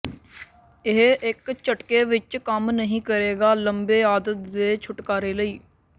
ਇਹ ਇੱਕ ਝਟਕੇ ਵਿੱਚ ਕੰਮ ਨਹੀ ਕਰੇਗਾ ਲੰਬੇ ਆਦਤ ਦੇ ਛੁਟਕਾਰੇ ਲਈ